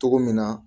Cogo min na